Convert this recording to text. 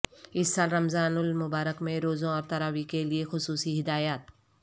اس سال رمضان المبارک میں روزوں اور تراویح کے لیے خصوصی ہدایت